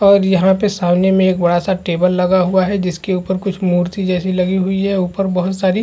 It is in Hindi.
और यहाँ पे सामने में एक बहुत बड़ा सा टेबल लगा हुआ है जिसके ऊपर कुछ मूर्ति जैसी लगी हुई है ऊपर बहुत सारी--